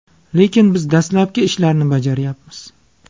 Lekin biz dastlabki ishlarni bajaryapmiz.